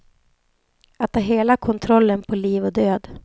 Att ha hela kontrollen på liv och död.